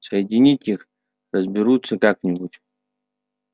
соединить их разберутся как-нибудь